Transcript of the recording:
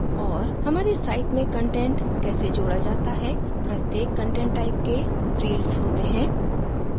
हमारी site में content कैसे जोडा जाता है प्रत्येक content type के fields होते हैं